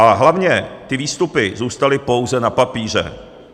A hlavně ty výstupy zůstaly pouze na papíře.